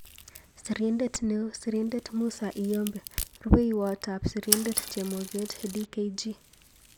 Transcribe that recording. Sirindet neoo-Sirindet Musa Iyombe-Rupeiywot ap Sirindet chemoget-Dkg